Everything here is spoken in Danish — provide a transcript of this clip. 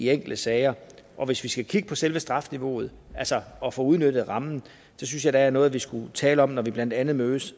enkelte sager og hvis vi skal kigge på selve strafniveauet altså at få udnyttet rammen så synes jeg det er noget vi skulle tale om når vi blandt andet mødes